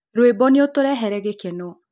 Rwĩmbo nũutũrehere gĩkeno